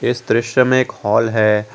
इस दृश्य में एक हाल है।